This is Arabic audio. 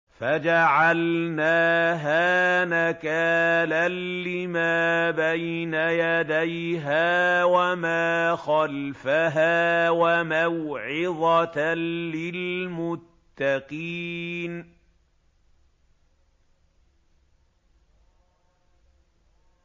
فَجَعَلْنَاهَا نَكَالًا لِّمَا بَيْنَ يَدَيْهَا وَمَا خَلْفَهَا وَمَوْعِظَةً لِّلْمُتَّقِينَ